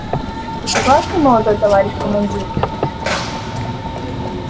вы согласны молодой товарищ командир